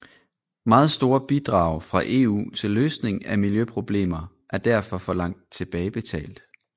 Meget store bidrag fra EU til løsning af miljøproblemer er derfor forlangt tilbagebetalt